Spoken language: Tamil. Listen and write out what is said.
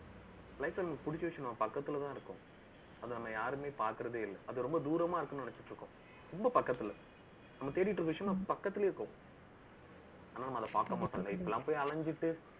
life ல நமக்கு புடிச்ச விஷயம், நான் பக்கத்துலதான் இருக்கும். அது நம்ம யாருமே பார்க்கிறதே இல்லை. அது ரொம்ப தூரமா இருக்கும்னு நினைச்சிட்டு இருக்கோம். ரொம்ப பக்கத்துல. நம்ம தேடிட்டு இருக்கிற விஷயம், நம்ம பக்கத்துலயே இருக்கோம் ஆனா, நம்ம அதை பாக்க மாட்டோம்ங்க. இப்படி எல்லாம் போய் அலைஞ்சிட்டு